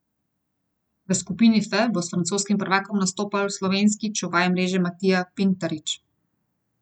V skupini F bo s francoskim prvakom nastopal slovenski čuvaj mreže Matija Pintarič.